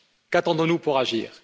Qu'attendons nous pour agir?